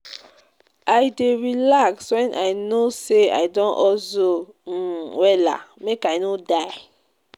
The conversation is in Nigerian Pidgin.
I dey relax wen I no sey I don hustle um wella, make I no die.